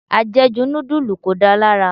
Ajeju nudulu kò da lára.